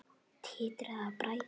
Titraði af bræði.